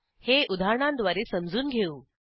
हे उदाहरणांद्वारे समजून घेऊ